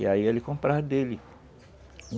E aí ele comprava dele.